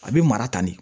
A bɛ mara tan de